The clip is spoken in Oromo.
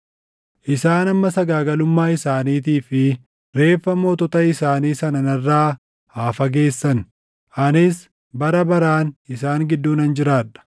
Isaan amma sagaagalummaa isaaniitii fi reeffa mootota isaanii sana narraa haa fageessani; anis bara baraan isaan gidduu nan jiraadha.